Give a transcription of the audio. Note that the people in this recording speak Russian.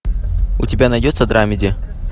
у тебя найдется драмеди